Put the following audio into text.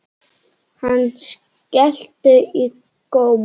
Hann skellti í góm.